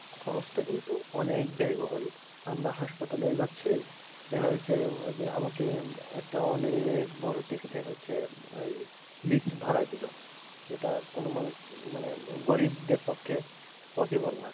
খরচটা কিন্তু অনেক ব্যয়বহুল আমরা হাসপাতালে যাচ্ছি, দেখা যাচ্ছে যে আমাকে একটা অনেক বড় test এর হচ্ছে list ধরাই দিল সেটা কোনো মানুষ মানে গরিবদের পক্ষে possible না